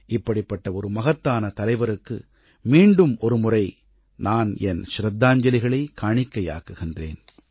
இப்படிப்பட்ட ஒரு மகத்தான தலைவருக்கு மீண்டும் ஒருமுறை நான் என் ச்ரத்தாஞ்சலிகளைக் காணிக்கையாக்குகிறேன்